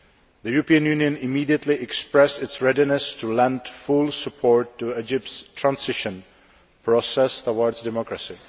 The European Union immediately expressed its readiness to lend full support to Egypt's transition process towards democracy.